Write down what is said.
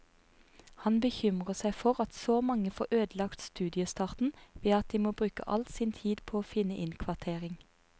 Han bekymrer seg for at så mange får ødelagt studiestarten ved at de må bruke all tid på å finne innkvartering.